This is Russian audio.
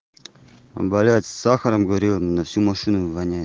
болят с сахаром говорила на всю машину воняет